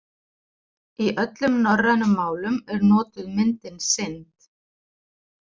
Í öllum norrænum málum er notuð myndin synd.